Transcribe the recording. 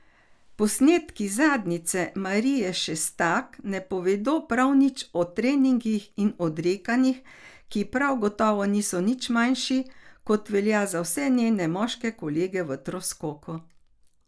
Posnetki zadnjice Marije Šestak ne povedo prav nič o treningih in odrekanjih, ki prav gotovo niso nič manjši, kot velja za vse njene moške kolege v troskoku.